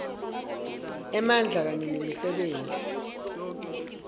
emandla kanye nemisebenti